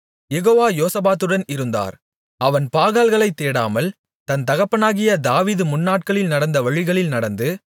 யெகோவா யோசபாத்துடன் இருந்தார் அவன் பாகால்களைத் தேடாமல் தன் தகப்பனாகிய தாவீது முன்நாட்களில் நடந்த வழிகளில் நடந்து